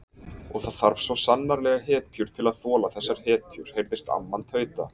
Og það þarf svo sannarlega hetjur til að þola þessar hetjur heyrðist amman tauta.